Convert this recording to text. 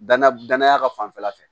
Danaya danaya ka fanfɛla fɛ